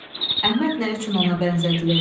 Əhməd nə üçün ona bənzədilir?